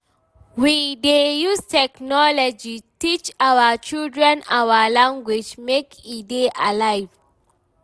We dey use technology teach our children our language make e dey alive.